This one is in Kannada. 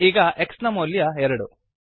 ಈಗ x ನ ಮೌಲ್ಯ ಎರಡು